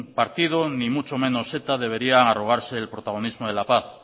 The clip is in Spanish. partido ni mucho menos eta debería arrogarse el protagonismo de la paz